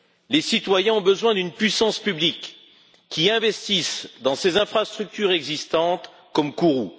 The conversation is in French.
Les citoyens ont besoin d'une puissance publique qui investisse dans ses infrastructures existantes, comme Kourou.